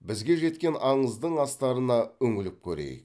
бізге жеткен аңыздың астарына үңіліп көрейік